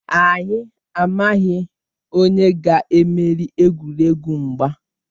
Anyị amaghị onye ga-emeri egwuregwu mgba.